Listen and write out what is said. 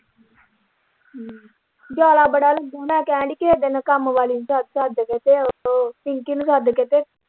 ਹਮ ਜਾਲ ਬੜਾ ਲੱਗਾ ਮੈਂ ਕਹਿਣ ਦੀ ਹੀ ਕਿਸੇ ਦਿਨ ਕੰਮਵਾਲੀ ਨੂੰ ਸੱਦ ਕੇ ਤੇ ਓਹਦੇ ਤੋਂ ਪਿੰਕੀ ਨੂੰ ਸੱਦ ਕੇ ਤੇ।